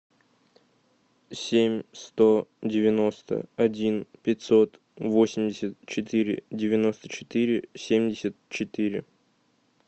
семь сто девяносто один пятьсот восемьдесят четыре девяносто четыре семьдесят четыре